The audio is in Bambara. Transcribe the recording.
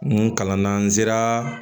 N kalanna n sera